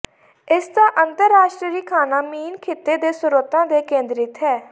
ਇਸ ਦਾ ਅੰਤਰਰਾਸ਼ਟਰੀ ਖਾਣਾ ਮੀਨ ਖਿੱਤੇ ਦੇ ਸਰੋਤਾਂ ਤੇ ਕੇਂਦਰਿਤ ਹੈ